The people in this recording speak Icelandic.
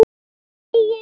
ÁFRAM VEGINN.